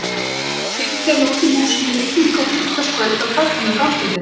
Hann fylgdi henni út úr húsinu í rigningu á fimmtudagskvöldi og kvaddi hana á gangstéttinni.